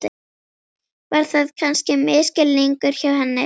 Var það kannski misskilningur hjá henni?